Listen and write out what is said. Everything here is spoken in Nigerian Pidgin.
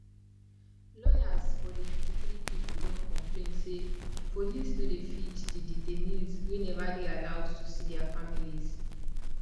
lawyers for di 53 pipo don complain say police no dey feed di detainees wey neva dey allowed to see dia families